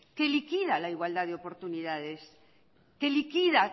que liquida la igualdad de oportunidades que liquida